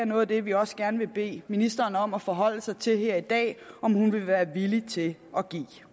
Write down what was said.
noget af det vi også gerne vil bede ministeren om at forholde sig til her i dag er om hun vil være villig til at give